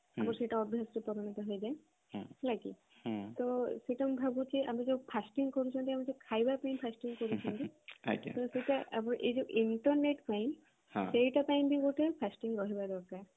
ଆମର ସେଇଟା ଅଭ୍ୟାସରେ ପରିଣତ ହେଇଯାଏ ହେଲା କି ତ ସେଇଟା ମୁଁ ଭାବୁଛି ଆମେ ଯୋଉ fasting କରୁଛନ୍ତି ଆମେ ଯୋଉ ଖାଇବା ପାଇଁ fasting କରୁଛନ୍ତି ସେଥିପାଇଁ ସେଇଟା ଏଇ ଯୋଉ internet ପାଇଁ ସେଇଟା ପାଇଁ ବି ଗୋଟେ fasting ରହିବା ଦରକାର